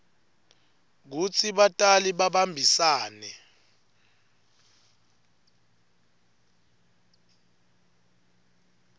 kutsi batali babambisane